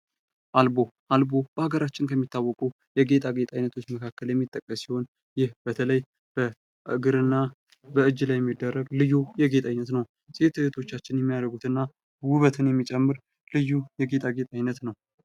አልቦ ፦ አልቦ በሀገራችን ከሚታወቁ የጌጣጌጥ አይነቶች መካከል የሚጠቀስ ሲሆን ይህ በተለይ በእግር እና በእጅ ላይ የሚደረግ ልዩ የጌጥ ዓይነት ነው ። ሴት እህቶቻችን የሚያደርጉት እና ውበትን የሚጨምር ልዩ የጌጣጌጥ አይነት ነው ።